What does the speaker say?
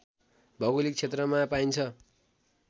भौगोलिक क्षेत्रमा पाइन्छ